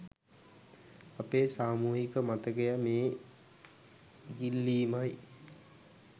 අපේ සාමූහික මතක මේ ඉගිල්ලීමයි